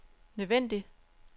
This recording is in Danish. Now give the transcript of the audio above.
nødvendig